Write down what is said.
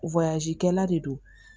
kɛla de don